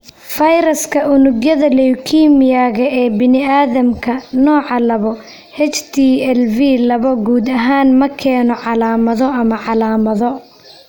Fayraska unugyada leukemia-ga ee bini'aadamka, nooca labo (HTLV laba) guud ahaan ma keeno calaamado ama calaamado.